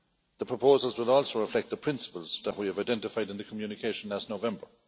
The proposals will also reflect the principles that we have identified in the communication last November.